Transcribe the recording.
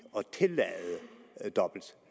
at tillade dobbelt